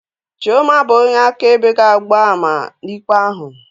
Chiọma bụ onye akaebe ga-agba ama n'ikpe ahụ